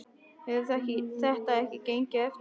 Hefur þetta ekki gengið eftir?